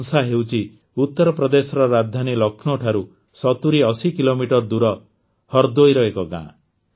ବାଂସା ହେଉଛି ଉତରପ୍ରଦେଶର ରାଜଧାନୀ ଲକ୍ଷ୍ନୌ ଠାରୁ ୭୦୮୦ କିଲୋମିଟର ଦୂର ହରଦୋଇର ଏକ ଗ୍ରାମ